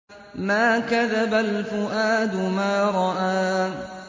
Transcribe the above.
مَا كَذَبَ الْفُؤَادُ مَا رَأَىٰ